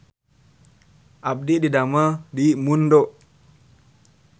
Abdi didamel di Mundo